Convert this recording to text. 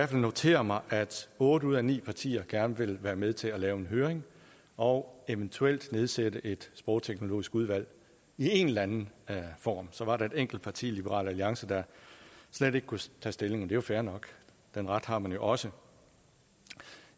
kan notere mig at otte ud af ni partier gerne vil være med til at lave en høring og eventuelt nedsætte et sprogteknologisk udvalg i en eller anden form så var der et enkelt parti liberal alliance der slet ikke kunne tage stilling og det er fair nok den ret har man jo også